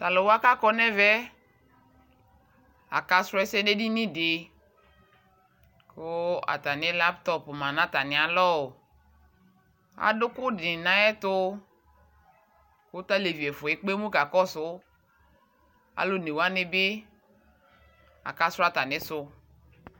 Tʊ alʊwa kadʊ ɛmɛ, akasu ɛsɛ nʊ edinidɩ, kʊ atami laptopwa lɛ nʊ atamialɔ, atʊ ʊkʊ dɩnɩ nʊ ayʊ ɛtʊ, kʊ tʊ alevi ɛfua yɛ kakɔsʊ, alʊ onewanɩ bɩ, akasu atamisʊ